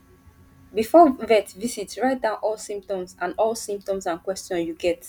before vet visit write down all symptoms and all symptoms and questions you get